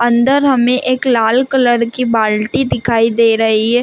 अंदर हमें एक लाल कलर की बाल्टी दिखाई दे रही है।